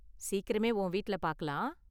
சீக்கிரமே உன் வீட்டுல பாக்கலாம்.